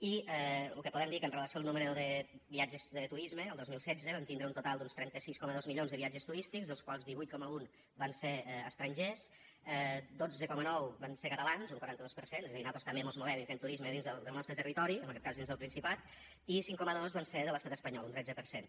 i lo que podem dir que amb relació al número de viatges de turisme el dos mil setze vam tindre un total d’uns trenta sis coma dos milions de viatges turístics dels quals divuit coma un van ser estrangers dotze coma nou vam ser catalans un quaranta dos per cent és a dir nosaltres també mos movem i fem turisme dins del nostre territori en aquest cas dins del principat i cinc coma dos van ser de l’estat espanyol un tretze per cent